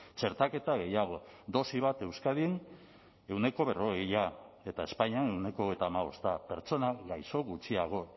txertaketa gehiago dosi bat euskadin ehuneko berrogeia eta espainian ehuneko hogeita hamabosta pertsona gaixo gutxiago